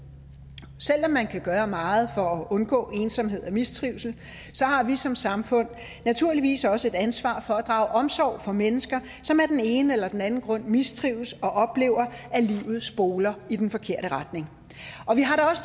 selv om man kan gøre meget for at undgå ensomhed og mistrivsel har vi som samfund naturligvis også et ansvar for at drage omsorg for mennesker som af den ene eller den anden grund mistrives og oplever at livet spoler i den forkerte retning